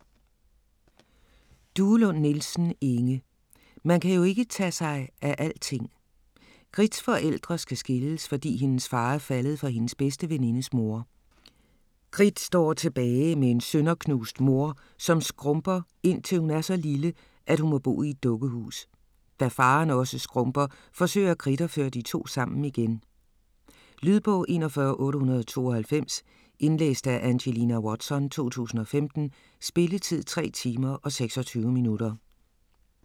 Duelund Nielsen, Inge: Man kan jo ikke tage sig af alting Gritts forældre skal skilles, fordi hendes far er faldet for hendes bedste venindes mor. Gritt står tilbage med en sønderknust mor, som skrumper indtil hun er så lille, at hun må bo i et dukkehus. Da faren også skrumper, forsøger Gritt at føre de to sammen igen. Lydbog 41892 Indlæst af Angelina Watson, 2015. Spilletid: 3 timer, 26 minutter.